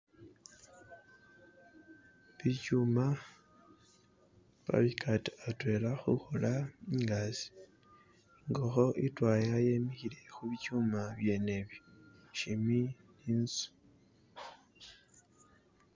Bichuma babigata atwela khukhola ingazi, ingokho itwaya yemikhile khu bichuma byene ibi shimbi ni'nzu.